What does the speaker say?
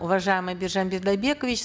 уважаемый биржан бидайбекович